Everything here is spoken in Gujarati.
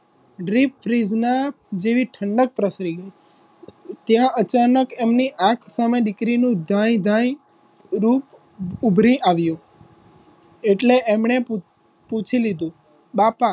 દાઈ રૂપ ઊભરી આવ્યુ એટલે એમને પૂછી લીધું બાપા એ બધુ તો ઠીક છે પણ છોકરો દેખાવમાં કેવો છે અમારી પરણાવીને તો તમે જોયેલી છે.